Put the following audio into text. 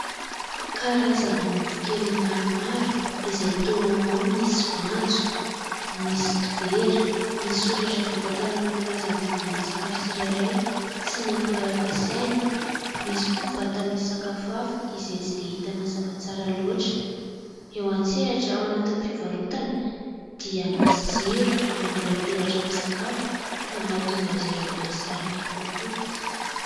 Karazana mofo kely maromaro izay toa ao ny misy voanjo, misy dibera. Misy soratra vita tanana milaza ny vidin'ny sakafo tsirairay sy ny akora ampiasaina. Misy koa vata misy sakafo hafa izay tsy dia hita mazava tsara loatra. Eo an-tsehatra, ao anatin'ny fivarotana dia misy jiro mamirapiratra amin'ny sakafo ka mahatonga azy ireo mahasarika kokoa.